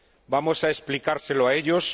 ¿Vamos a explicárselo a ellos?